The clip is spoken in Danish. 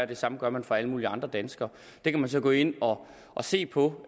det samme gør man for alle mulige andre danskere det kan man så gå ind og se på